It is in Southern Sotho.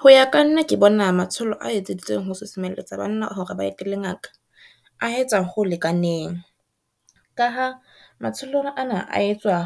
Ho ya ka nna ke bona matsholo a etseditsweng ho susumelletsa banna hore ba etelle ngaka, a etsa ho lekaneng. Ka ha matsholo ana a etswa